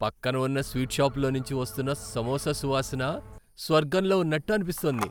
పక్కన ఉన్న స్వీట్ షాపులోంచి వస్తున్న సమోసా సువాసన..స్వర్గంలో ఉన్నట్టు అనిపిస్తోంది!